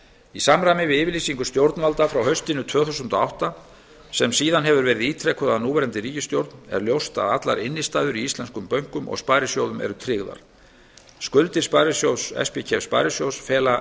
í samræmi við yfirlýsingu stjórnvalda frá haustinu tvö þúsund og átta sem síðan hefur verið ítrekuð af núverandi ríkisstjórn er ljóst að allar innstæður í íslenskum bönkum og sparisjóðum eru tryggðar skuldir spkef sparisjóðs fela